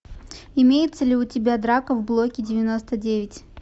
имеется ли у тебя драка в блоке девяносто девять